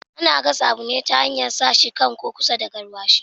Ana gasa abu ne ta hanyar sa shi kan ko kusa da garwashi